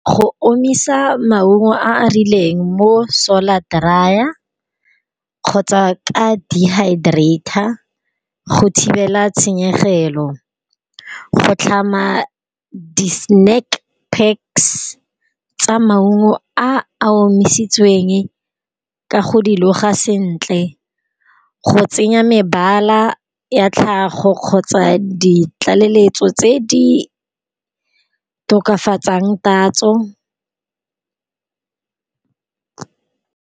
Go omisa maungo a a rileng mo solar dryer, kgotsa ka dehydrater, go thibela tshenyegelo, go tlhama di snack packs tsa maungo a a omisitsweng ka go di loga sentle, go tsenya mebala ya tlhago kgotsa di tlaleletso tse di tokafatsang tatso.